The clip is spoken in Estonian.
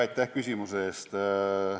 Aitäh küsimuse eest!